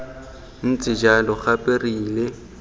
ntse jalo gape re ile